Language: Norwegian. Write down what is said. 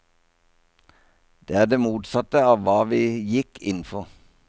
Det er det motsatte av hva vi gikk inn for.